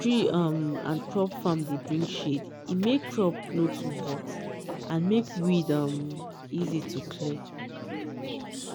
tree um and crop farm dey bring shade e make crop no too hot and make weed um easy to clear.